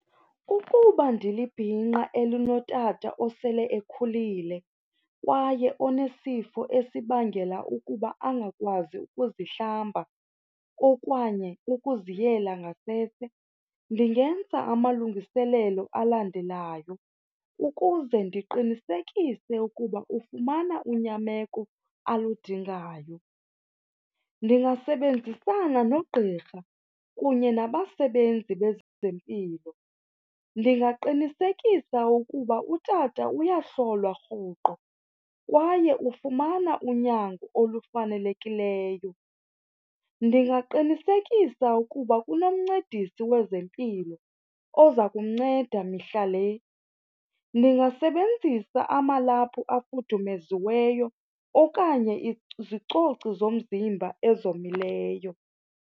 Ukuba ndilibhinqa elinotata osele ekhulile kwaye onesifo esibangela ukuba angakwazi ukuzihlamba okanye ukuziyela ngasese, ndingenza amalungiselelo alandelayo ukuze ndiqinisekise ukuba ufumana unyameko aludingayo. Ndingasebenzisana nogqirha kunye nabasebenzi bezempilo. Ndingaqinisekisa ukuba utata uyahlolwa rhoqo kwaye ufumana unyango olufanelekileyo. Ndingaqinisekisa ukuba kunomncedisi wezempilo oza kumnceda mihla le. Ndingasebenzisa amalaphu afudumeziweyo okanye izicoci zomzimba ezomileyo.